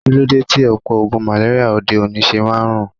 Kilode ti opo ogun maleria ode-oni se maa n run?